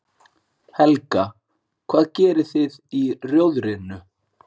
Helga: Hvað gerið þið í Rjóðrinu?